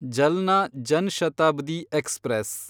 Jalna Jan Shatabdi express